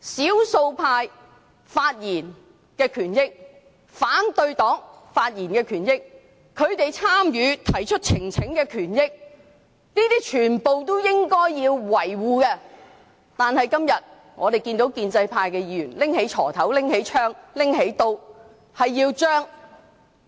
少數派及反對黨發言的權益，他們提交呈請書的權益全都要維護，但我們今天看到建制派議員拿出鋤頭、槍和刀，